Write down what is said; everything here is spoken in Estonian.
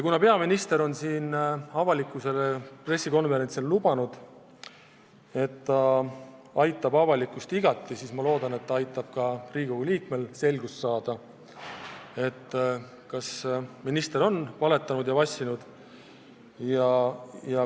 Kuna peaminister on pressikonverentsil avalikkusele lubanud, et aitab avalikkust igati, siis ma loodan, et ta aitab ka Riigikogu liikmetel selgust saada, kas minister on valetanud ja vassinud.